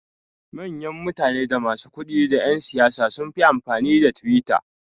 Mayan mutane da masu kudi da yan siyasa sunfi amfani da twitter